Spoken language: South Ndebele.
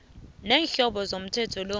neenhloso zomthetho lo